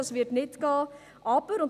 Das wird nicht gehen.